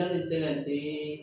K'a bɛ se ka se